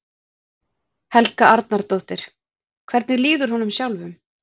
Helga Arnardóttir: Hvernig líður honum sjálfum?